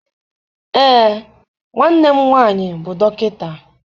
Ee, nwanne m nwaanyị bụ dọkịta.